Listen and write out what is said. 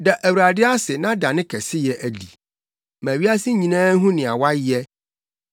Da Awurade ase na da ne kɛseyɛ adi. Ma wiase nyinaa nhu nea wayɛ.